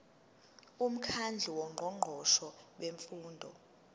umkhandlu wongqongqoshe bemfundo